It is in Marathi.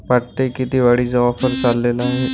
पट्टे कितीवाडीचा वापर चालेला आहे.